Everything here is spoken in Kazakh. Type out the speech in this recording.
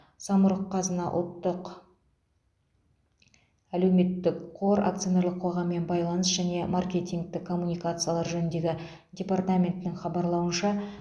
самұрық қазына ұлттық әлеуметтік қор акционерлік қоғаммен байланыс және маркетингтік коммуникациялар жөніндегі департаментінің хабарлауынша